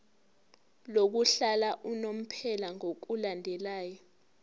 lokuhlala unomphela ngokulandela